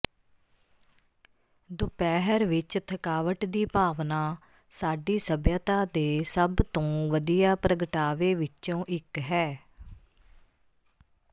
ਦੁਪਹਿਰ ਵਿੱਚ ਥਕਾਵਟ ਦੀ ਭਾਵਨਾ ਸਾਡੀ ਸੱਭਿਅਤਾ ਦੇ ਸਭ ਤੋਂ ਵਧੀਆ ਪ੍ਰਗਟਾਵੇ ਵਿੱਚੋਂ ਇੱਕ ਹੈ